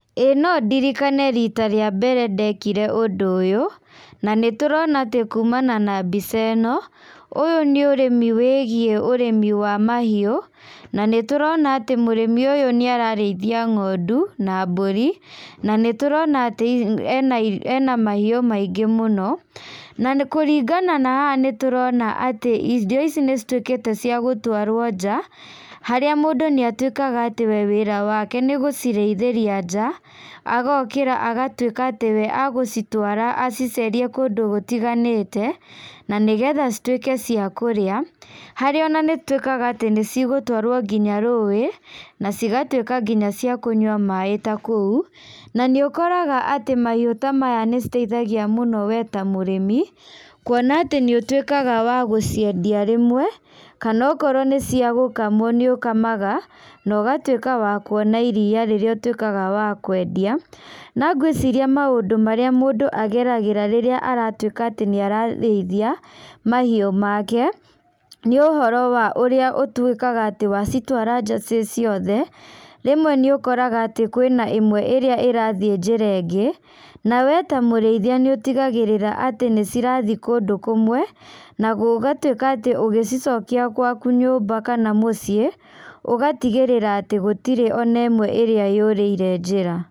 Ĩĩ no ndirikane rita rĩa mbere ndekire ũndũ ũyũ, na nĩtũrona atĩ kumana na mbica ĩno, ũyũ nĩ ũrĩmi wĩgiĩ ũrĩmi wa mahiũ, na nĩtũrona atĩ mũrĩmi ũyũ nĩararĩithia ng'ondu, na mbũri, na nĩtũrona atĩ ena ena mahiũ maingĩ mũno, na nĩkũringana na haha nĩtũrona atĩ indo ici nĩcituĩkĩte cia gũtwarwo nja, harĩa mũndũ nĩatuĩkaga atĩ we wĩra wake nĩgũcirĩithĩria nja, agokĩra agatuĩka atĩ we agũcitwara, acicerie kũndũ gũtiganĩte, na nĩgetha cituĩke cia kũrĩa, harĩa ona nĩitũĩkaga atĩ nĩcigũtwarwo nginya rũĩ, na cigatuĩka nginya cia kũnyua maĩ ta kũu, na nĩũkoraga atĩ mahiũ ta maya nĩ citeithagia mũno we ta mũrĩmi, kuona atĩ nĩũtuĩkaga wa gũciendia rĩmwe, kana okorwo nĩ cia gũkamwo nĩ ũkamaga, na ũgatuĩka wa kuona iria rĩrĩa ũtuĩkaga wa kwendia, na ngwĩciria maũndũ marĩa mũndũ ageragĩra rĩrĩa aratuĩka atĩ nĩararĩithia, mahiũ make, nĩ ũhoro wa ũrĩa ũtuĩkaga atĩ wacitwara nja ciĩ ciothe, rĩmwe nĩũkoraga atĩ kwĩna ĩmwe ĩrĩa ĩrathiĩ njĩra ingĩ, na we ta mũrĩithia nĩ ũtigagĩrĩra atĩ nĩcirathiĩ kũndũ kũmwe, na gũgatuĩka atĩ ũgĩcicokia gwaku nyũmba kana mũciĩ, ũgatigĩrĩra atĩ gũtirĩ ona ĩmwe ĩrĩa yũrĩire njĩra.